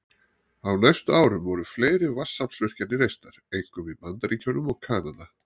Á næstu árum voru fleiri vatnsaflsvirkjanir reistar, einkum í Bandaríkjunum og Kanada.